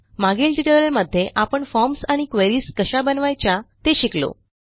मागील ट्युटोरियलमध्ये आपण फॉर्म्स आणि क्वेरीज कशा बनवायच्या ते शिकलो